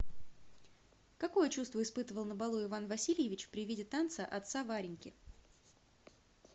какое чувство испытывал на балу иван васильевич при виде танца отца вареньки